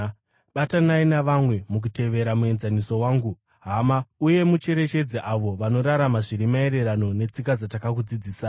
Batanai navamwe mukutevera muenzaniso wangu, hama, uye mucherechedze avo vanorarama zviri maererano netsika dzatakakudzidzisai.